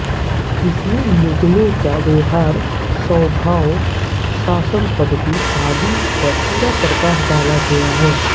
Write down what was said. इसमें मुगलों के व्यवहार स्वभाव शासनपद्धति आदि पर पूरा प्रकाश डाला गया है